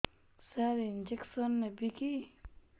ସାର injection ନେବିକି